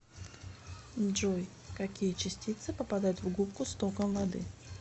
джой какие частицы попадают в губку с током воды